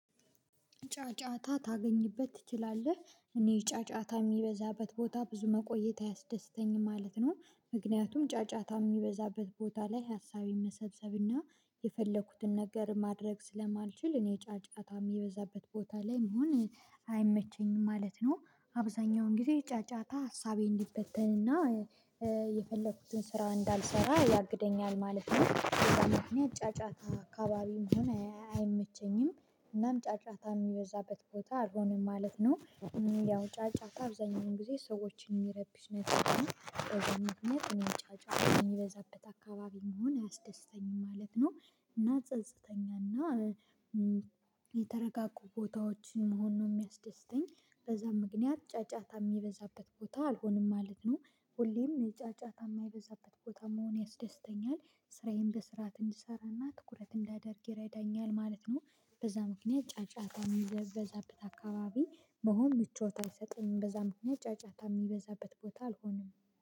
ጫጫታ ታገኝበት ትችላለህ እኔ ጫጫታ የሚበዛበት ቦታ ብዙ መቆየት አያስደስተኝም ማለት ነው። ምክንያቱም ጫጫታ የሚበዛበት ቦታ ላይ ሀሳብ የመሰብሰብ እና የፈለኩትን ነገር ማድረግ ስለማልችል እኔ ጫጫታ የሚበዛበት ቦታ ላይ መሆን አይመቸኝም ማለት ነው። አብዛኛውን ጊዜ ጫጫታ ሀሳቤ እንዲበተን እና የፈለኩትን ስራ እንዳልሰራ ያግደኛል ማለት ነው በዛ ምክንያት ጫጫታ አካባቢ መሆነ አይመቸኝም። እናም ጫጫታ የሚበዛበት ቦታ አልሆነም ማለት ነው። ያው ጫጫታ አብዛኛውን ጊዜ ሰዎችን የሚረብሽ ነገር ነው በዛ ምክንያት እኔም ጫጫታ የሚበዛበት አካባቢ መሆን አያስደስተኝም ማለት ነው። እና ጸጽተኛ እና የተረጋጉ ቦታዎችን መሆን ነው የሚያስደስተኝ። በዛ ምክንያት ጫጫታ የሚበዛበት ቦታ አልሆንም ማለት ነው። ሁሌም የጫጫታ የማይበዛበት ቦታ መሆን ያስደስተኛል ስራዬን በስርዓት እንድሰራ እና ትኩረት እንዳደርግ ይረዳኛል ማለት ነው። በዛ ምክንያት ጫጫታ የሚበዛበት አካባቢ መሆን ምቾት አይሰጥም በዛ ምክንያት ጫጫታ የሚበዛበት ቦታ አልሆነም